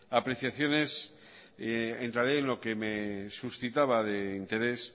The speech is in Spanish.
apreciaciones en realidad lo que me suscitaba de interés